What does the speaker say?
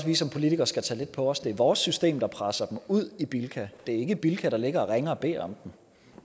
vi som politikere skal tage lidt på os det er vores system der presser dem ud i bilka det er ikke bilka der ligger og ringer og beder om